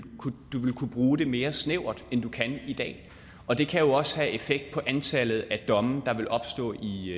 kunne bruge det mere snævert end du kan i dag og det kan jo også have effekt på antallet af domme der vil opstå i